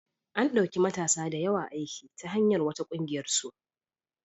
An ɗauki matasa da yawa aiki ta hanyar wata ƙungiyarsu.